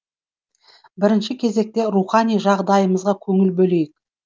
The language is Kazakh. бірінші кезекте рухани жағдайымызға көңіл бөлейік